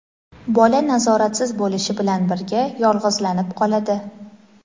bola nazoratsiz bo‘lishi bilan birga yolg‘izlanib qoladi.